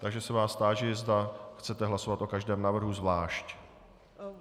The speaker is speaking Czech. Takže se vás táži, zda chcete hlasovat o každém návrhu zvlášť.